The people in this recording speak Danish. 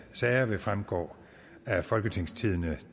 sager vil fremgå af folketingstidende